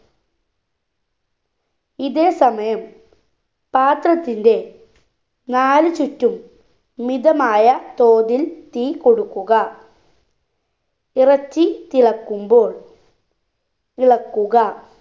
ഇതേ സമയം പാത്രത്തിന്റെ നാല് ചുറ്റും മിതമായ തോതിൽ തീ കൊടുക്കുക ഇറച്ചി തിളക്കുമ്പോൾ ഇളക്കുക